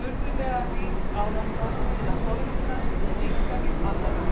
furðulega rík árátta til að forvitnast um einkalíf annarra.